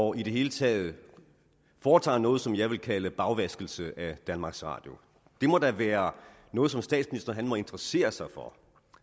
og i det hele taget foretager noget som jeg vil kalde bagvaskelse af danmarks radio det må da være noget som statsministeren må interessere sig for og